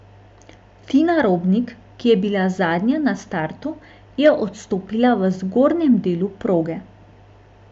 Tina Robnik, ki je bila zadnja na startu, je odstopila v zgornjem delu proge.